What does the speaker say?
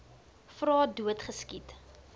vra dood geskiet